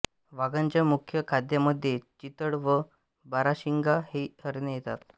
वाघांच्या मुख्य खाद्यामध्ये चितळ व बाराशिंगा ही हरणे येतात